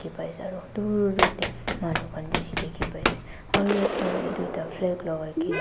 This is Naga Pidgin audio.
pai ase aro dur dur dae manu khan beshi dekhi pai ase aro yateh hoile duida.